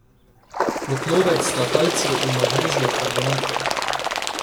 Kotlovec sta kalcijev in magnezijev karbonat.